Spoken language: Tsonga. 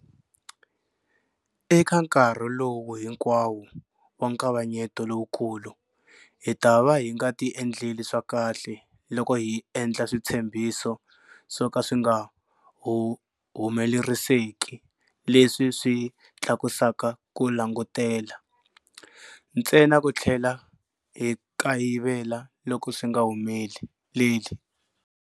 Eka nkarhi lowu hinkwawo wa nkavanyeto lowukulu, hi ta va hi nga ti endleli swa kahle loko hi endla switshembiso swo ka swi nga humeleriseki leswi swi tlakusaka ku langutela, ntsena ku tlhela hi kayivela loko swi nga humeleli.